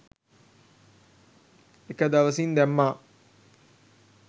එක දවසින් දැම්මා.